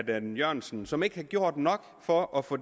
dan jørgensen som ikke har gjort nok for at få